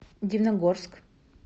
дивногорск